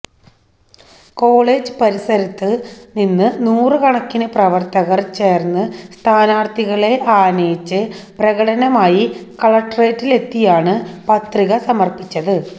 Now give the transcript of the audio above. college പരിസരത്ത് നിന്ന് നൂറ് കണക്കിന് പ്രവര്ത്തകര് ചേര്ന്ന് സ്ഥാനാര്ത്ഥികളെ ആനയിച്ച് പ്രകടനമായി കളക്ട്രേറ്റിലെത്തിയാണ് പത്രിക സമര്പ്പിച്ചത്